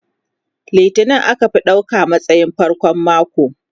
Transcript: Litini aka fi ɗauka a matsayin farkon mako.